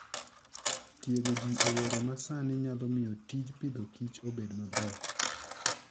Tiego ji e yore ma sani nyalo miyo tij Agriculture and Food obed maber.